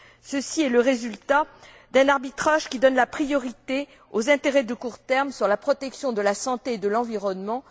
Ceci est le résultat d'un arbitrage qui donne la priorité aux intérêts du court terme sur la protection de la santé et de l'environnement.